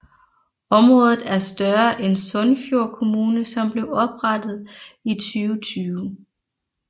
Området er større end Sunnfjord kommune som blev oprettet i 2020